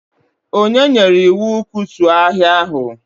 O nyere iwu, kutuo ahịa ahụ!